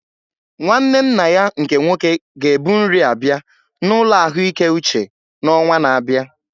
Nwanne nna ya nke nwoke ga ebu nri abịa na ụlọ ahụike uche n'ọnwa na-abịa